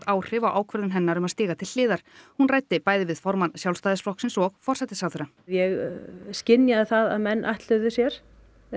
áhrif á ákvörðun hennar um að stíga til hliðar hún ræddi bæði við formann Sjálfsstæðisflokksins og forsætisáðherra ég skynjaði það að menn ætluðu sér